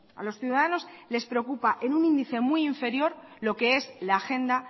a los ciudadanos les preocupa en un índice muy inferior lo que es la agenda